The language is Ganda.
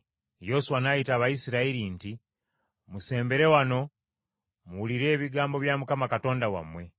Yoswa n’ayita Abayisirayiri nti, “Musembere wano muwulire ebigambo bya Mukama Katonda wammwe.